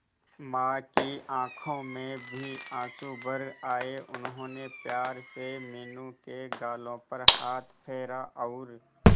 मां की आंखों में भी आंसू भर आए उन्होंने प्यार से मीनू के गालों पर हाथ फेरा और